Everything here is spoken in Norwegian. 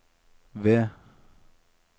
V